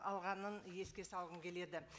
алғанын еске салғым келеді